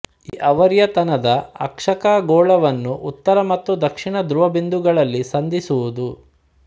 ಈ ಆವರ್ತನದ ಅಕ್ಷ ಖಗೋಳವನ್ನು ಉತ್ತರ ಮತ್ತು ದಕ್ಷಿಣ ಧ್ರುವ ಬಿಂದುಗಳಲ್ಲಿ ಸಂಧಿಸುವುದು